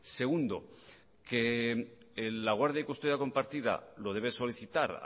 segundo que la guardia y custodia compartida lo debe solicitar